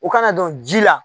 U kana dɔn ji la